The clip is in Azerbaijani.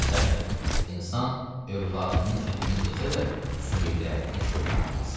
Məsəldir, insan övladının ətini yesə də, sümüklərini çölə atmaz.